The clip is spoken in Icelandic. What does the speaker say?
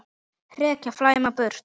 hrekja, flæma burt